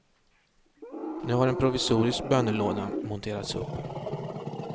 Nu har en provisorisk bönelåda monterats upp.